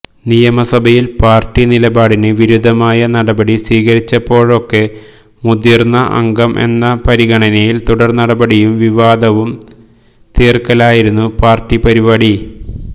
നിയമസഭയിൽ പാർട്ടി നിലപാടിന് വിരുദ്ധമായ നടപടി സ്വീകരിച്ചപ്പോഴൊക്കെ മുതിർന്ന അംഗം എന്ന പരിഗണനയിൽ തുടർനടപടിയും വിവാദവും തീർക്കലായിരുന്നു പാർട്ടി പരിപാടി